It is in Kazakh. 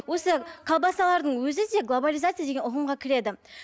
осы колбасалардың өзі де глобализация деген ұғымға кіреді